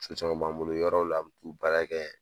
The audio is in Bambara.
caman b'an bolo yɔrɔw la u baara kɛ